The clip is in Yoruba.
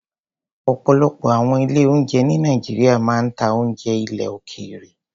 Ọ̀pọ̀lọpọ̀ àwọn ilé-oúnjẹ ní Nàìjíríà máa ń ta oúnjẹ ilẹ̀ òkèèrè.